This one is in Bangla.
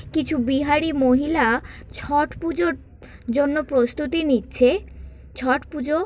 কিছু বিহারী মহিলা ছট পুজোর জন্য প্রস্তুতি নিচ্ছে ছট পুজো--